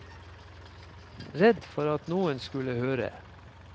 Redd for at noen skulle høre.